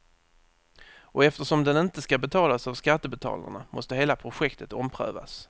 Och eftersom den inte ska betalas av skattebetalarna måste hela projektet omprövas.